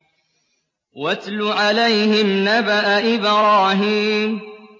وَاتْلُ عَلَيْهِمْ نَبَأَ إِبْرَاهِيمَ